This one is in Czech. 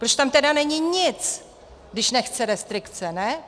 Proč tam tedy není nic, když nechce restrikce, ne?